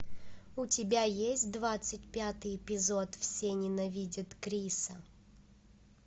у тебя есть двадцать пятый эпизод все ненавидят криса